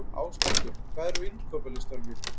Áslákur, hvað er á innkaupalistanum mínum?